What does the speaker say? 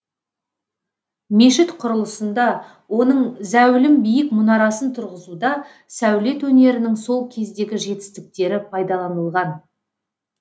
мешіт құрылысында оның зәулім биік мұнарасын тұрғызуда сәулет өнерінің сол кездегі жетістіктері пайдаланылған